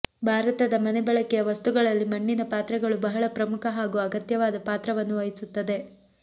ಭಾರತದ ಮನೆ ಬಳಕೆಯ ವಸ್ತುಗಳಲ್ಲಿ ಮಣ್ಣಿನ ಪಾತ್ರೆಗಳು ಬಹಳ ಪ್ರಮುಖ ಹಾಗೂ ಅಗತ್ಯವಾದ ಪಾತ್ರವನ್ನು ವಹಿಸುತ್ತದೆ